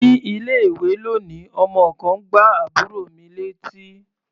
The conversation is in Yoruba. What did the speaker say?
Ní ilé-ìwé lónìí, ọmọ kan gbá àbúrò mi létí.